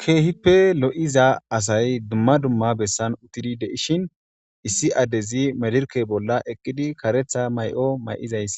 Kehipe loisa asay dumma dumma besan utidi deishe issi addezi medireke bola eqidi kareta mayo mayiziyis